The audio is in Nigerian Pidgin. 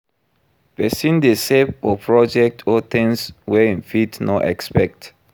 Persin de save for projects or things wey I'm fit no expect